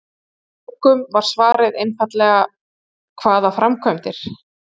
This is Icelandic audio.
Hjá allmörgum var svarið einfaldlega: Hvaða framkvæmdir?